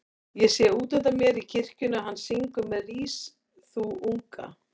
Ég sé útundan mér í kirkjunni að hann syngur með Rís þú unga